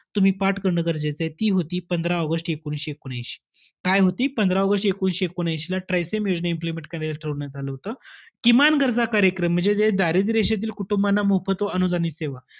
तुम्ही पाठ करणं गरजेचं आहे. ती होती पंधरा ऑगस्ट एकोणीसशे एकोणऐंशी. काय होती? पंधरा ऑगस्ट एकोणीसशे एकोणऐंशीला, TRYSEM योजनेला implement करण्याचं ठरवण्यात आलं होतं. किमान गरज कार्यक्रम, म्हणजे जे दारिद्र्य रेषेतील कुटुंबाना मोफत तो अनुदानित सेवा.